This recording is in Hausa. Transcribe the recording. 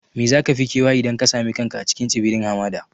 Me za ka fi kewa idan ka sami kanka a cikin tsibirin hamada?